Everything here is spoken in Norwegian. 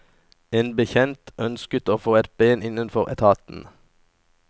En bekjent ønsket å få et ben innenfor etaten.